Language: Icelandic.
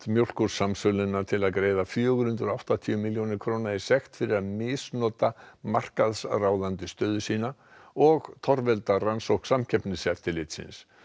Mjólkursamsöluna til að greiða fjögur hundruð og áttatíu milljónir króna í sekt fyrir að misnota markaðsráðandi stöðu sína og torvelda rannsókn Samkeppniseftirlitsins